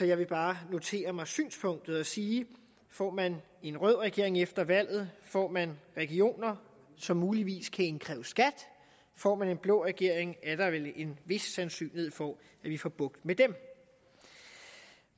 jeg vil bare notere mig synspunktet og sige at får man en rød regering efter valget får man regioner som muligvis kan indkræve skat og får man en blå regering er der vel en vis sandsynlighed for at vi får bugt med dem